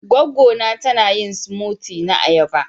Gwaggo na ta na yin " smoothie " na ayaba.